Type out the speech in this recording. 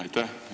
Aitäh!